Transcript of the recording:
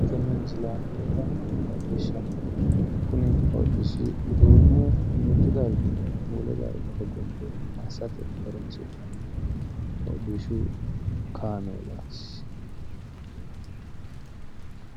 tenne misile aana leellannohu hodhishshaho kuni hodhishshi uduunne mittu darginni wole darga hogombe massineemmo hodhishshu kaameelaati.